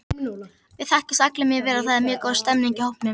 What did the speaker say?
Við þekkjumst allir mjög vel og það er mjög góð stemning í hópnum.